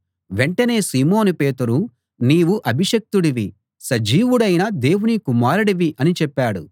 వెంటనే సీమోను పేతురు నీవు అభిషిక్తుడివి సజీవుడైన దేవుని కుమారుడివి అని చెప్పాడు